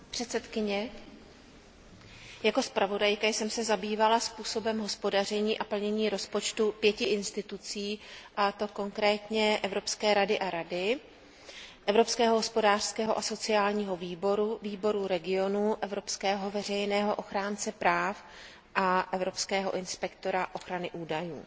Paní předsedající, jako zpravodajka jsem se zabývala způsobem hospodaření a plnění rozpočtu pěti orgánů a institucí, a to konkrétně Evropské rady a Rady, Evropského hospodářského a sociálního výboru, Výboru regionů, evropského veřejného ochránce práv a evropského inspektora ochrany údajů.